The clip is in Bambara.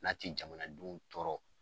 N'a ti jamanadenw tɔɔrɔ.